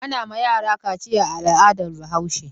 Ana ma yara kaciya a al'adar Bahaushe.